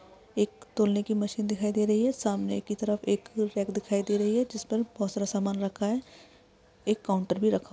एक तोलने की मशीन दिखाई दे रही है सामने की तरफ एक रेक दिखाई दे रही है जिस पर बहुत सारा समान रखा है एक काउंटर भी रखा--